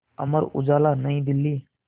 Amar Ujala New Delhi